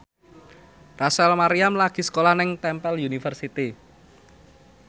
Rachel Maryam lagi sekolah nang Temple University